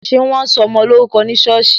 Ṣé wọn sọ ọmọ ní orúkọ ní sọ́ọ̀sì?